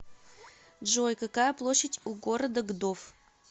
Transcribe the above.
джой какая площадь у города гдов